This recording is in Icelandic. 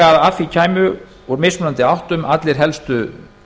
að því kæmu úr mismunandi áttum allir helstu